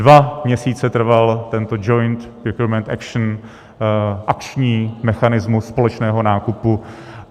Dva měsíce trval tento joint procurement action - akční mechanismus společného nákupu.